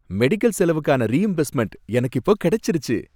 Medical செலவுக்கான reimbursement எனக்கு இப்போ கிடைச்சிடுச்சு.